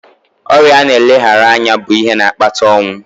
Ọrịa na-eleghara anya bụ ihe na-akpata ọnwụ.